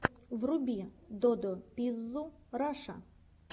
вруби додо пиззу раша